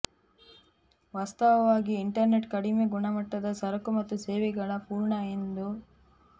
ವಾಸ್ತವವಾಗಿ ಇಂಟರ್ನೆಟ್ ಕಡಿಮೆ ಗುಣಮಟ್ಟದ ಸರಕು ಮತ್ತು ಸೇವೆಗಳ ಪೂರ್ಣ ಎಂದು